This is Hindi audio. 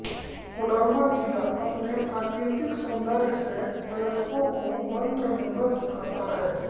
कोडरमा जिला अपने प्राकृतिक सौन्दर्य से पर्यटकों को मंत्रमुग्ध करता है